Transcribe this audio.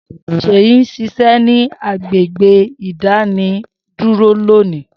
Seyi n ṣiṣẹ ni agbegbe idaní duro loni.